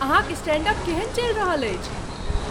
अहाँक stand up केहन चलि रहल अछि?